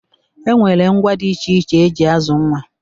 E nwere ngwá dị iche iche e ji azụ nwa.